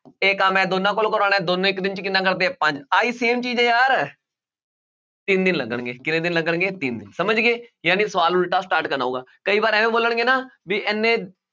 ਇਹ ਕੰਮ ਮੈਂ ਦੋਨੋਂ ਕੋਲੋਂ ਕਰਵਾਉਣਾ ਹੈ ਦੋਨੋਂ ਇੱਕ ਦਿਨ 'ਚ ਕਿੰਨਾ ਕਰਦੇ ਹੈ ਪੰਜ ਆਹੀ same ਚੀਜ਼ ਹੈ ਯਾਰ ਤਿੰਨ ਦਿਨ ਲੱਗਣਗੇ ਕਿੰਨੇ ਦਿਨ ਲੱਗਣਗੇ ਤਿੰਨ, ਸਮਝਗੇ ਜਾਣੀ ਸਵਾਲ ਉਲਟਾ start ਕਰਨਾ ਹੋਊਗਾ, ਕਈ ਵਾਰ ਇਵੇਂ ਬੋਲਣਗੇ ਨਾ ਵੀ ਇੰਨੇ